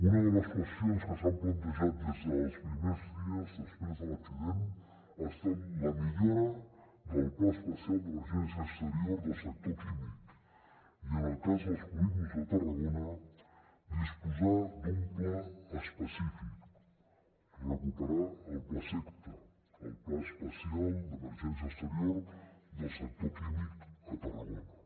una de les qüestions que s’han plantejat des dels primers dies després de l’accident ha estat la millora del pla especial d’emergència exterior del sector químic i en el cas dels polígons de tarragona disposar d’un pla específic recuperar el plaseqta el pla especial d’emergència exterior del sector químic a tarragona